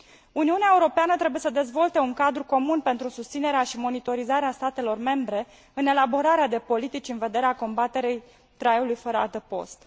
Uniunea Europeană trebuie să dezvolte un cadru comun pentru susținerea și monitorizarea statelor membre în elaborarea de politici în vederea combaterii traiului fără adăpost.